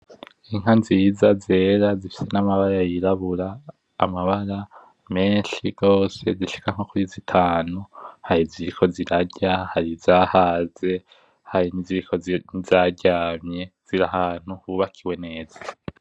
Inka nziza zera zifise amabara yirabura, amabara menshi zishika nko kuri zitanu. Hari iziriko zirarya, hari izahaze hari n’izaryamye zir’ahantu hubakiwe neza.